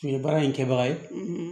Nin ye baara in kɛbaga ye